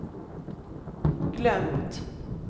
glömt